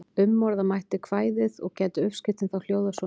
Umorða mætti kvæðið og gæti uppskriftin þá hljóðað svona: